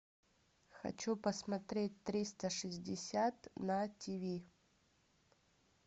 хочу посмотреть триста шестьдесят на тв